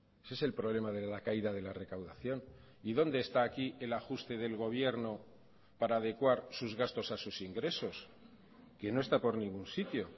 ese es el problema de la caída de la recaudación y dónde está aquí el ajuste del gobierno para adecuar sus gastos a sus ingresos que no está por ningún sitio